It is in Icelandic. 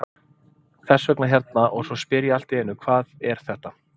Þess vegna hérna og svo spyr ég allt í einu hvað er þetta?